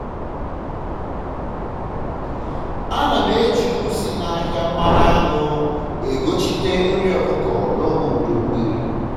ana m eji uru si n'ahịa mmanụ aṅụ e gochita nri ọkụkọ n'oge udu mmiri